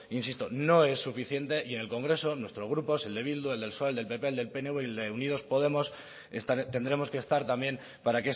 insisto no es suficiente y en el congreso nuestro grupo el de eh bildu el de psoe el del pp el del pnv el de unidos podemos tendremos que estar también para